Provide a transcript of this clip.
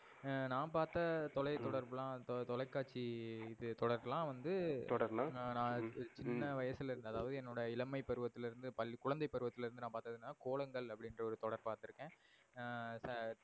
எர் நா பார்த்த தொலை தொடரபுலாம் தொலைகாட்சி தொலை தொடரபுலாம் வந்து நா சின்ன வயசுல அதாவது எனோட இளமை பருவதில்லிருந்து குழந்தை பருவதில்லிருந்து நா பாத்ததுனா கோலங்கள் அப்டினுற ஒரு தொடர் பாத்து இருக்கன் எர்